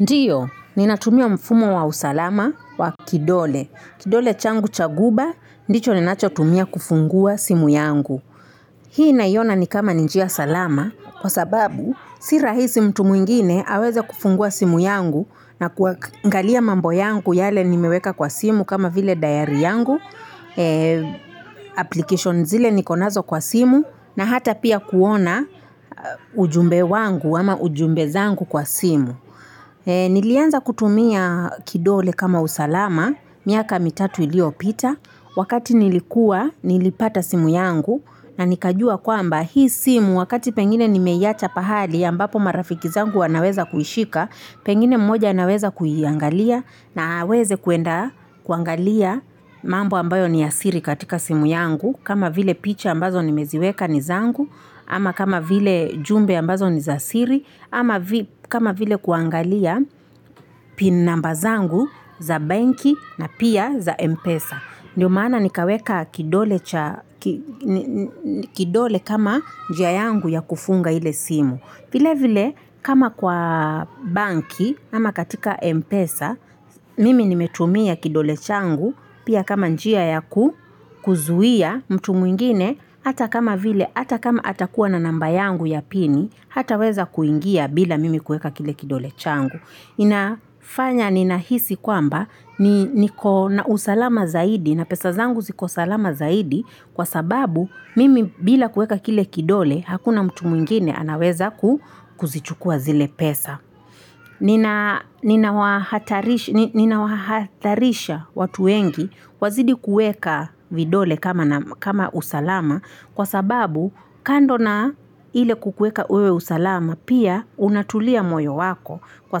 Ndiyo, ninatumia mfumo wa usalama wa kidole. Kidole changu cha guba, ndicho ninacho tumia kufungua simu yangu. Hii naiona ni kama ni njia salama, kwa sababu, si rahisi mtu mwingine aweze kufungua simu yangu na kuangalia mambo yangu yale nimeweka kwa simu kama vile diary yangu. Applications zile niko nazo kwa simu na hata pia kuona ujumbe wangu ama ujumbe zangu kwa simu. Nilianza kutumia kidole kama usalama, miaka mitatu iliopita, wakati nilikuwa nilipata simu yangu na nikajua kwamba hii simu wakati pengine nimeiacha pahali ambapo marafiki zangu wanaweza kuishika, pengine mmoja anaweza kuiangalia na aweze kwenda kuangalia mambo ambayo ni ya asiri katika simu yangu, kama vile picha ambazo nimeziweka ni zangu, ama kama vile jumbe ambazo nizasiri, ama kama vile kuangalia pin namba zangu za benki na pia za Mpesa. Ndiyo maana nikaweka kidole cha kidole kama njia yangu ya kufunga ile simu. Vile vile kama kwa banki, ama katika Mpesa, mimi nimetumia kidole changu, Pia kama njia ya kuzuia mtu mwingine, hata kama atakuwa na namba yangu ya pini, hataweza kuingia bila mimi kuweka kile kidole changu. Inafanya ninahisi kwamba, ni niko na usalama zaidi, na pesa zangu ziko salama zaidi, kwa sababu mimi bila kuweka kile kidole, hakuna mtu mwingine anaweza kuzichukua zile pesa. Nina wahatarisha watu wengi wazidi kuweka vidole kama kama usalama kwa sababu kando na ile kukueka wewe usalama pia unatulia moyo wako kwa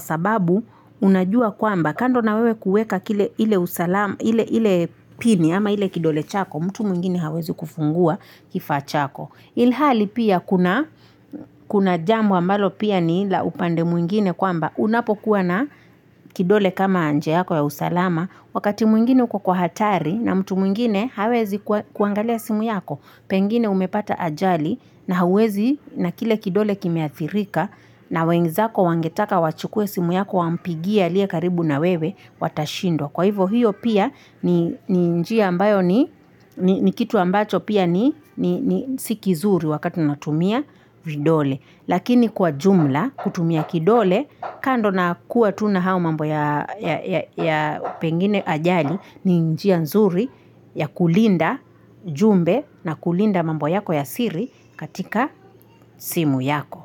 sababu unajua kwamba kando na wewe kuweka ile usalama ile ile pini ama ile kidole chako mtu mwingine hawezi kufungua kifaa chako. Ilhali pia kuna jambo ambalo pia ni la upande mwingine kwamba unapokuwa na kidole kama njia yako ya usalama wakati mwingine uko kwa hatari na mtu mwingine hawezi kuangalia simu yako pengine umepata ajali na hawezi na kile kidole kimeathirika na wenzako wangetaka wachukue simu yako wampigie aliye karibu na wewe watashindwa. Kwa hivo hiyo pia ni njia ambayo ni kitu ambacho pia ni ni si kizuri wakati unatumia vidole. Lakini kwa jumla kutumia kidole kando na kuwa tu na hayo mambo ya ya pengine ajali ni njia nzuri ya kulinda jumbe na kulinda mambo yako ya siri katika simu yako.